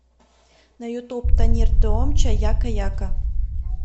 на ютуб танир туомча яка яка